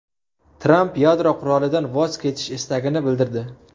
Tramp yadro qurolidan voz kechish istagini bildirdi.